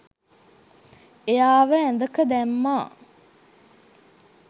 එයාව ඇඳක දැම්මා